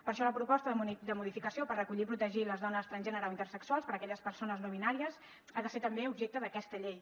per això la proposta de modificació per recollir i protegir les dones transgènere o intersexuals per a aquelles persones no binàries ha de ser també objecte d’aquesta llei